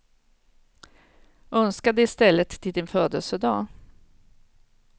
Önska det i stället till din födelsedag.